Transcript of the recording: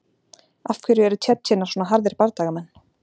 Af hverju eru Tsjetsjenar svona harðir bardagamenn?